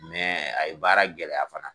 a ye baara gɛlɛya fana.